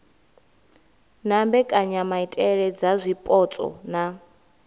na mbekanyamaitele dza zwipotso na